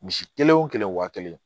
Misi kelen wo kelen waa kelen